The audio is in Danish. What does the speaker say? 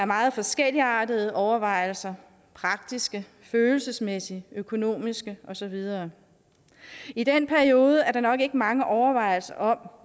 meget forskelligartede overvejelser praktiske følelsesmæssige økonomiske og så videre i den periode er der nok ikke ret mange overvejelser om